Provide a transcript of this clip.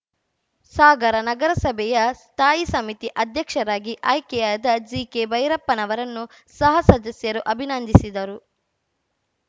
ಸಾಗರ ನಗರಸಭೆಯ ಸ್ಥಾಯಿ ಸಮಿತಿ ಅಧ್ಯಕ್ಷರಾಗಿ ಆಯ್ಕೆಯಾದ ಜಿಕೆಭೈರಪ್ಪನವರನ್ನು ಸಹಸದಸ್ಯರು ಅಭಿನಂದಿಸಿದರು